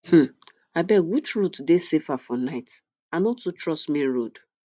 um abeg which route dey safer for night i no too trust main road